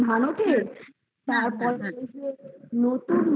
উঠে তারপর কি হচ্ছে নতুন